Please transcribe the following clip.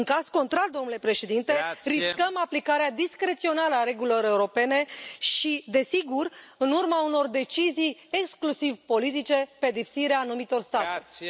În caz contrar, domnule președinte, riscăm aplicarea discreționară a regulilor europene și, desigur, în urma unor decizii exclusiv politice, pedepsirea anumitor state.